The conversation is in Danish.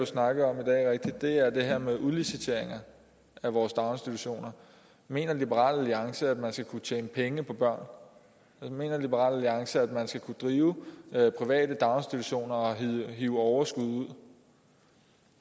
snakket om i dag er det her med udliciteringer af vores daginstitutioner mener liberal alliance at man skal kunne tjene penge på børn mener liberal alliance at man skal kunne drive private daginstitutioner og hive overskud ud